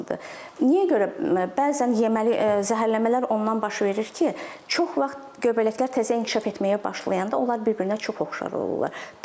Niyə görə bəzən yeməli zəhərlənmələr ondan baş verir ki, çox vaxt göbələklər təzə inkişaf etməyə başlayanda onlar bir-birinə çox oxşar olurlar.